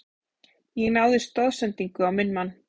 Ég náði stoðsendingu á minn mann.